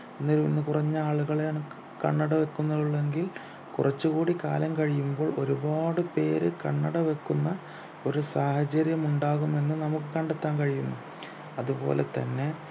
ഇന്ന് കുറഞ്ഞ ആളുകളാണ് കണ്ണട വയ്ക്കുന്നു ഉള്ളു എങ്കിൽ കുറച്ചുകൂടി കാലം കഴിയുമ്പോൾ ഒരുപാട് പേര് കണ്ണട വെക്കുന്ന ഒരു സാഹചര്യമുണ്ടാകുമെന്ന് നമുക്ക് കണ്ടെത്താൻ കഴിയുന്നു അതുപോലെതന്നെ